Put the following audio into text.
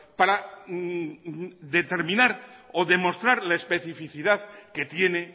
para determinar o demostrar la especificidad que tiene